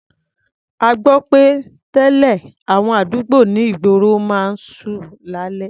A gbọ́ pé tẹ́lẹ̀, àwọn àdúgbò ní ìgboro máa ń ṣú lálẹ́.